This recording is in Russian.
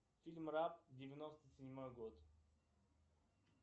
фильм раб девяносто седьмой год